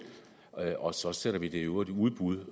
og så sender vi det i øvrigt i udbud